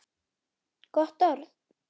Gott orð.